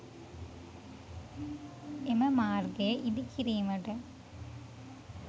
එම මාර්ගය ඉදි කිරීමට